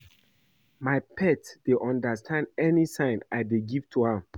My pet dey understand any sign I dey give to am